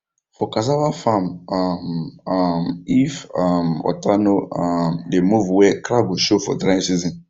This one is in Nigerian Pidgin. for cassava farm um um if um water no um dey move well crack go show for dry season